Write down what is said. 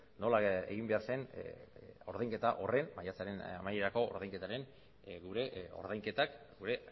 nola egin behar zen ordainketa horren maiatzaren amaierako ordainketaren gure ordainketak gure